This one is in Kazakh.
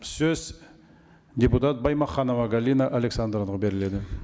сөз депутат баймаханова галина александровнаға беріледі